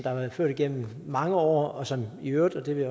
har været ført igennem mange år og som i øvrigt og det vil